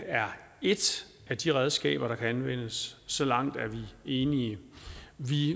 er et af de redskaber der kan anvendes så langt er vi enige vi